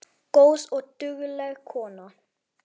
Góð og dugleg kona